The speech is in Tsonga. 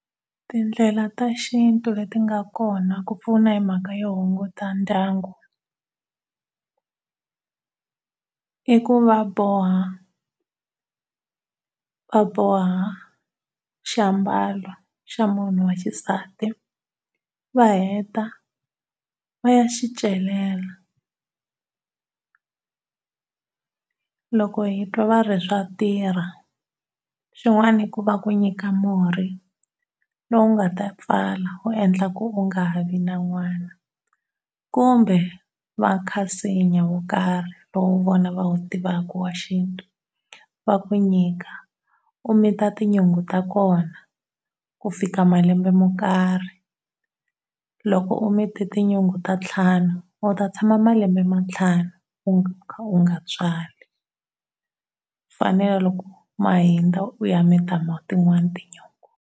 Tindlela ta xintu leti nga kona ku pfuna hi mhaka yo hunguta ndyangu i ku va boha va boha xi ambalo xa munhu wa xisati va heta va ya xi celela. Loko hi twa va ri swa tirha. Swin'wana i ku va ku nyika murhi lowu nga ta pfala wu endla ku u nga ha vi na n'wana kumbe va kha nsinya wo karhi lowu vona va wu tivaka wa xintu xa ku nyika u mita tinyungu ta kona ku fika malembe mo karhi. Loko u mite tunyungu ta ntlhanu u ta tshama malembe ma ntlhanu u kha u nga tswali. Ku fanele loko ma hundza u ya mita tin'wana tinyungu.